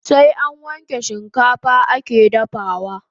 Sai an wanke shikafa ake dafawa